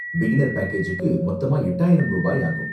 Beginner பேக்கேஜுக்கு மொத்தமா எட்டாயிரம் ரூபாய் ஆகும்.